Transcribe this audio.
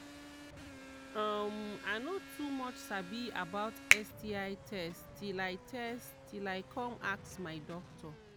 um i no too much sabi about sti test till i test till i come ask my doctor